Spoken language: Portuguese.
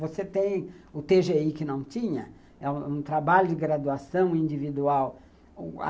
Você tem o tê gê i que não tinha, é um trabalho de graduação individual.